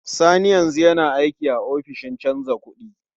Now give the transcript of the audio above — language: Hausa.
Sani yanzu yana aiki a ofishin canja kuɗi.